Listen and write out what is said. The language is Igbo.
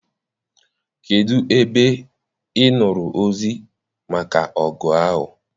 Kedụ ebe I nụrụ ozi maka ọgụ ahụ?